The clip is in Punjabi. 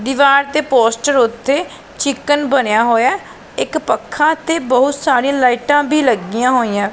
ਦੀਵਾਰ ਦੇ ਪੋਸਟਰ ਉੱਤੇ ਚਿਕਨ ਬਣਿਆ ਹੋਇਐ ਇੱਕ ਪੱਖਾ ਤੇ ਬਹੁਤ ਸਾਰੀਆਂ ਲਾਈਟਾਂ ਭੀ ਲੱਗੀਆਂ ਹੋਈਆਂ।